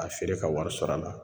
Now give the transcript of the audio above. A feere ka wari sɔrɔ a la.